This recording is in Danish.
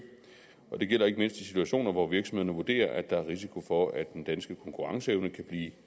og det gælder ikke mindst i situationer hvor virksomhederne vurderer at der er risiko for at den danske konkurrenceevne kan blive